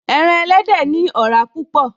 Ẹran elédè ní ọ̀rá púpọ̀